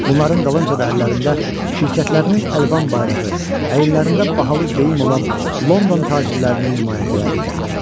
Bunların dalınca da əllərində şirkətlərinin əlvan bayrağı, əyinlərində bahalı geyim olan London tacirlərinin nümayəndələri gəlirdilər.